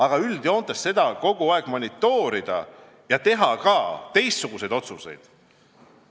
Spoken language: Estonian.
Aga üldjoontes, kas on vaja pidevalt monitoorida ja vajadusel teha teistsuguseid otsuseid?